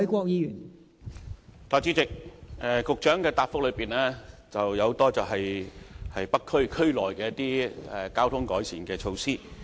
代理主席，局長在主體答覆提及很多在北區區內進行的交通改善措施。